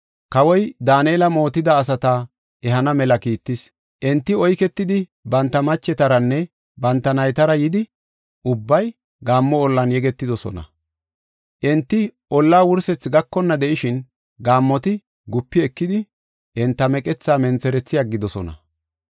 Kawoy Daanela mootida asata ehana mela kiittis. Enti oyketidi, banta machetaranne banta naytara yidi, ubbay gaammo ollan yegetidosona. Enti ollaa wursetha gakonna de7ishin, gaammoti gupi ekidi, enta meqethaa mentherethi aggidosona.